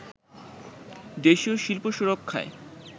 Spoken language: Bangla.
দেশীয় শিল্প সুরক্ষায়